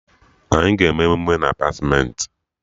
Anyị ga-eme emume na Apartmentị